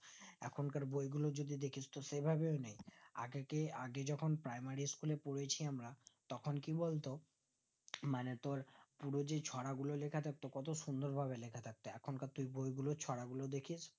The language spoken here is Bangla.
এখন কার বই গুলো যদি দেখিস তো সেভাবেও নেই আগে যেআগে যেকোন primary school এ পড়েছি আমরা তখন কি বলতো মানে তোর যদি চোরা গুলো লেখা থাকতো কত সুন্দর ভাবে লেখা থাকতো এখন কার তো বই গুলো ছড়া গুলো দেখে